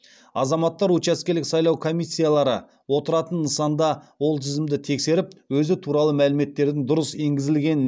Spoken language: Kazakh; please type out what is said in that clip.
азаматтар учаскелік сайлау комиссиялары отыратын нысанда ол тізімді тексеріп өзі туралы мәліметтердің дұрыс енгізілгенін